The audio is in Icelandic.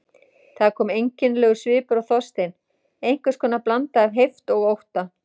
Það kom einkennilegur svipur á Þorstein, einhvers konar blanda af heift og ótta.